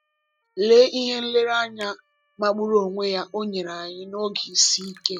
Lee ihe nlereanya magburu onwe ya o nyere anyị n’oge isi ike!